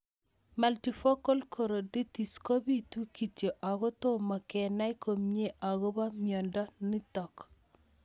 Multifocal choroiditis kopitu kityo ako tomo kenai komie akopo miondo notok